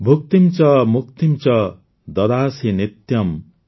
ଭୂକ୍ତିମ୍ ଚ ମୁକ୍ତିମ୍ ଚ ଦଦାସି ନିତ୍ୟମ୍